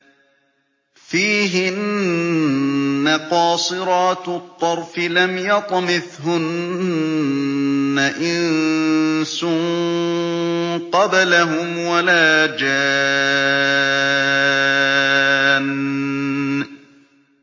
فِيهِنَّ قَاصِرَاتُ الطَّرْفِ لَمْ يَطْمِثْهُنَّ إِنسٌ قَبْلَهُمْ وَلَا جَانٌّ